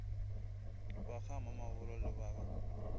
ba gamamabolo le ba ga